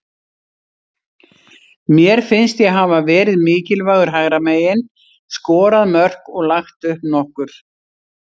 Mér finnst ég hafa verið mikilvægur hægra megin, skorað mörk og lagt upp nokkur.